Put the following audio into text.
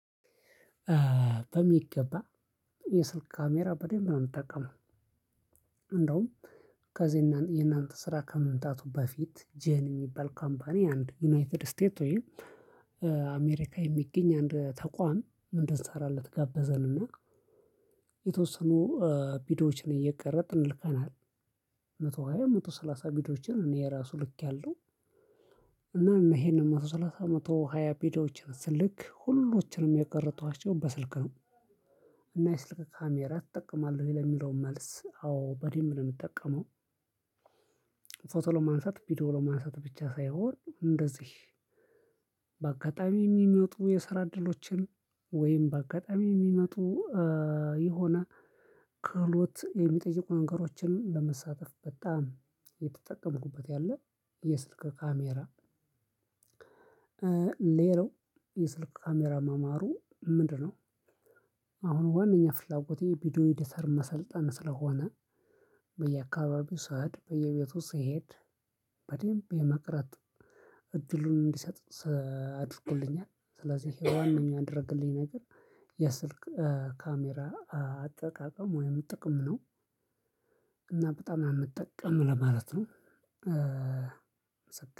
በሚገባ የስልክ ካሜራ በደንብ ነው ምጠቀመው። እንደውም ከዚህ የእናንተ ስራ ከመምጣቱ በፊት ጄን የሚባል ካምፓኒ አንድ ዩናይትድ ስቴት ወይም የሚገኝ አንድ ተቋም እንድንሰራለት ጋበዘንና የተወሰኑ ቪዲዬዎችን እየቀረፅን ልከናል። መቶ ሃያ መቶ ሰላሳ ቪዲዬዎችን እኔ የራሱ ልክያለው። እና ይሄንን መቶ ሰላሳ መቶ ሃያ ቪዲዬችን ስልክ ሁሎችንም የቀረፅኳቸው በስልክ ነው። እና የስልክ ካሜራ ትጠቀማለህ ወይ ለሚለው መልስ አዎ በደምብ ነው ምጠቀመው። ፎቶ ለማንሳት ቪዲዮ ለማንሳት ብቻ ሳይሆን እንደዚህ በአጋጣሚ የሚመጡ የስራ እድሎችን ወይም በአጋጣሚ የሚመጡ የሆነ ክህሎት የሚጠይቁ ነገሮችን ለመሳተፍ በጣም እየተጠቀምኩበት ያለ የስልክ ካሜራ። ሌላው የስልክ ካሜራ መማሩ ምንድነው? አሁን ዋናኛ ፍላጎቴ ቪዲዮ ኤዲተር መሰልጠን ስለሆነ። በየአካባቢው ስሄድ በየቤቱ ስሄድ በደንብ የመቅረፅ እድሉን እንዲሰጥ አድርጎልኛል። ስለዚህ የዋነኛ ያደረገልኝ ነገር የስልክ ካሜራ አጠቃቀም ወይም ጥቅም ነው። እና በጣም ነው የምጠቀም ለማለት ነው።